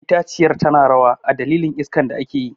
Itaciyar tana rawa a dalilin iskan da ake yi.